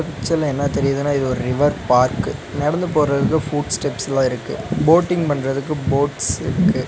பிச்சர்ல என்ன தெரியுதுன்னா இது ஒரு ரிவர் பார்க்கு நடந்து போறதுக்கு ஃபுட்ஸ்டெப்ஸ்லா இருக்கு போட்டிங் பன்றதுக்கு போட்ஸ் இருக்கு.